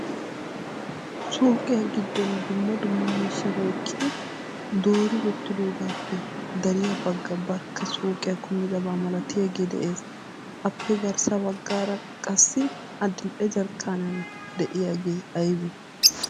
Suukiya giddon dumma dumma miishshata ehidi doori wottidoogappe dariya bagga barkka suuqiya kummidaba malatiyaagee de'ees. appe garssa baggaara qassi adil''e Jarkkaniyan de'iyaagee aybbe?